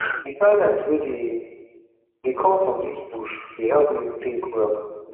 di silence wey dey dey come from dis bush dey help me tink well